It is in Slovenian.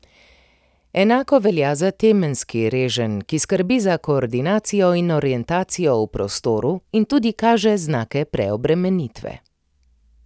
Enako velja za temenski reženj, ki skrbi za koordinacijo in orientacijo v prostoru in tudi kaže znake preobremenitve.